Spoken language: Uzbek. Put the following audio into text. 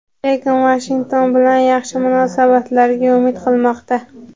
lekin Vashington bilan yaxshi munosabatlarga umid qilmoqda.